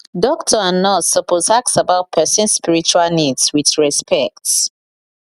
doctor and nurse suppose ask about persons spiritual needs with respect